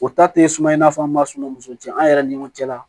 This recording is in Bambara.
O ta tɛ suma in na fɔ an ma sunɔgɔ muso cɛn an yɛrɛ ni ɲɔgɔn cɛ la